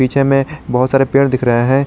पीछे में बहोत सारे पेड़ दिख रहा है।